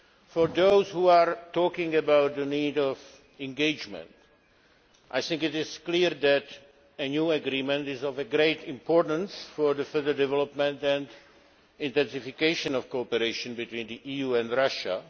For those who speak of the need for engagement, I think it is clear that a new agreement is of great importance for the further development and intensification of cooperation between the EU and Russia.